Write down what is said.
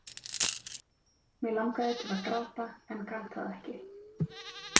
Mig langaði til að gráta en gat það ekki.